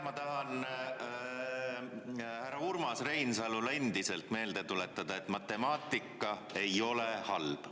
Ma tahan härra Urmas Reinsalule endiselt meelde tuletada, et matemaatika ei ole halb.